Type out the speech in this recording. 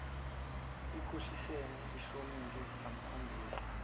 ikhohlisene ihlomile samkhombisa